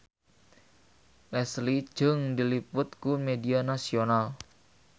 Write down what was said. Leslie Cheung diliput ku media nasional